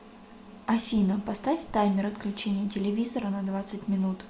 афина поставь таймер отключения телевизора на двадцать минут